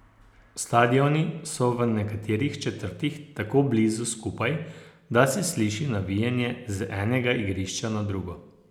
Stadioni so v nekaterih četrtih tako blizu skupaj, da se sliši navijanje z enega igrišča na drugo.